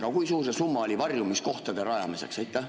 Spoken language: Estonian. Aga kui suur see summa oli varjumiskohtade rajamiseks?